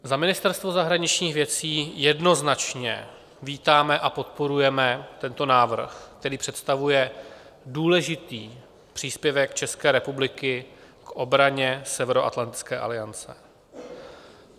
Za Ministerstvo zahraničních věcí jednoznačně vítáme a podporujeme tento návrh, který představuje důležitý příspěvek České republiky k obraně Severoatlantické aliance.